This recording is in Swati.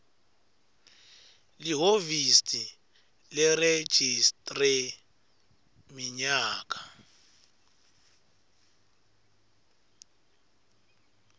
lihhovisi leregistrar minyaka